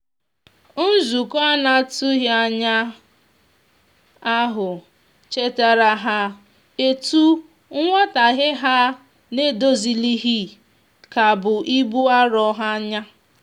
nzukọ anatughi anya ahu chetara ha etu nwotaghe ha n'edozilighi ka bụ ibụ arọ ha nya